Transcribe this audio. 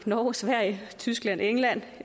norge sverige tyskland england